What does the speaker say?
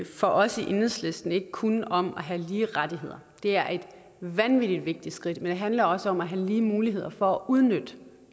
for os i enhedslisten ikke kun om at have lige rettigheder det er et vanvittig vigtigt skridt men det handler også om at have lige muligheder for at udnytte